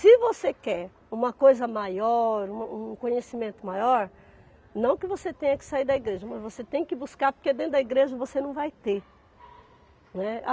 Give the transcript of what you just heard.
Se você quer uma coisa maior, um um conhecimento maior, não que você tenha que sair da igreja, mas você tem que buscar, porque dentro da igreja você não vai ter, né.